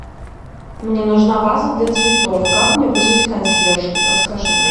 мне нужна ваза для цветов как мне вызвать консьержку подскажи